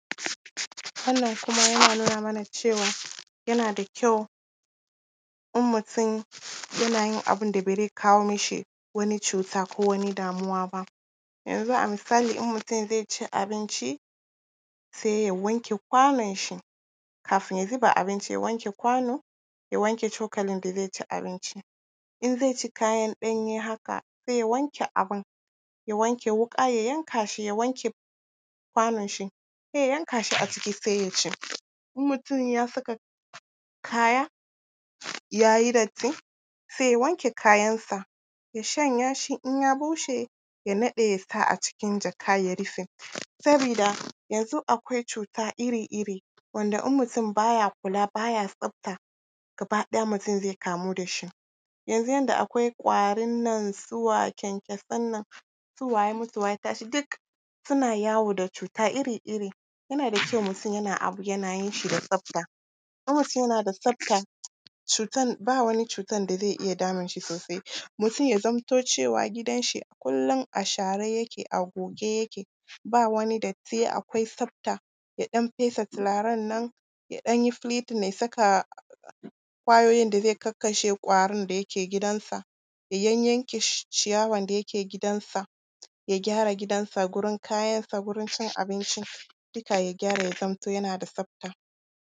Wannan kuma yana nuna mana cewa yana da kyau in mutum yana yin abin da ba zai kawo mishi wani cuta ko wani damuwa ba. Yanzu a misali, in mutum zai ci abinci, sai ya wanke kwanonshi, kafin ya zuba abinci, ya wanke kwano, ya wanke cokalin da zai ci abinci. In zai ci kayan ɗanye haka, sai ya wanke abin, ya wanke wuƙa, ya yanka shi, ya wanke kwanonshi, sai ya yanka shi a ciki, sai ya ci In mutum ya saka kaya, ya yi datti, sai ya wanke kayansa, ya shanya shi, in ya bushe, ya naɗe, ya sa a cikin jaka, ya rufe. Sabida yanzu akwai cuta iri-iri, wanda idan mutum ba ya kula, ba ya tsafta, gaba ɗaya mutum zai kamu da shi Yanzu yadda akwai ƙwarin nan, su wa kyankyasan nan, su wa ya mutu ya tashi, duk suna yawo da cuta iri-iri. Yana da kyau mutum yana yin abu, yana yin shi da tsafta. In mutum yana da tsafta, cutan, ba wani cutan da zai iya damunshi sosai. Mutum ya zamto cewa, gidanshi kullum a share yake, a goge yake, ba wani datti, akwai tsafta, ya ɗan fesa turaren nan, ya ɗan yi flitting, ya saka ƙwayoyin da zai kakkashe da yake gidansa, ya yayyanke ciyawan da yake gidansa, ya gyara gidansa, gurin kayansa, gurin cin abinci, duka ya gyara, ya zamto yana da tsafta.